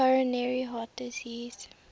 coronary heart disease